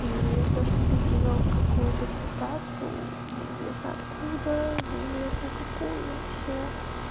и то что ты привёл какую-то цитату неизвестно откуда неизвестно какую вообще